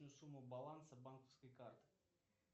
сумма баланса банковской карты